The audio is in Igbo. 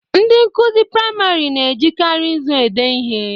Ndị nkụzi priamarị na-ejikari nzu ede ihe.